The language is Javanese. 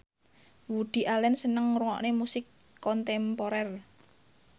Woody Allen seneng ngrungokne musik kontemporer